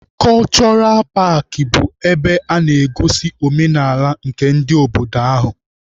Kọchọra paakị bụ ebe a na-egosi omenaala nke ndị obodo ahụ.